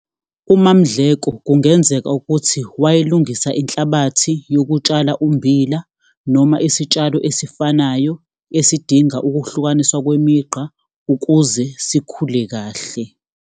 UMaMdleko kungenzeka ukuthi wayelungisa inhlabathi yokutshala ummbila noma isitshalo esifanayo esidinga ukuhlukaniswa kwemigqa ukuze sikhule kahle.